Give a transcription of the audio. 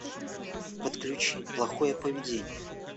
подключи плохое поведение